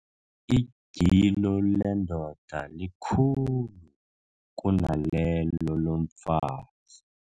Igilo lendoda likhulu kunalelo lomfazi.